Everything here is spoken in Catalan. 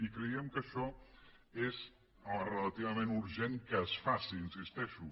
i creiem que això és relativament urgent que es faci hi insisteixo